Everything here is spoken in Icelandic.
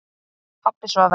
Pabbi svaf enn.